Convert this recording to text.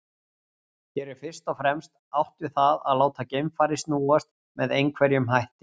Hér er fyrst og fremst átt við það að láta geimfarið snúast með einhverjum hætti.